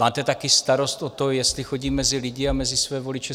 Máte taky starost o to, jestli chodím mezi lidi a mezi své voliče.